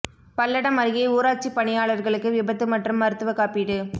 பல்லடம் அருகே ஊராட்சி பணியாளர்களுக்கு விபத்து மற்றும் மருத்துவ காப்பீடு